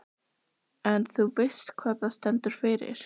Hugrún: En þú veist hvað það stendur fyrir?